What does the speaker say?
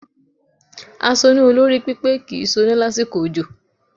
Asoná olórí pípé kì í soná lásìkò òjò